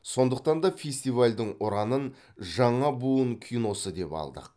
сондықтан да фестивальдің ұранын жаңа буын киносы деп алдық